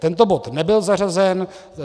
Tento bod nebyl zařazen.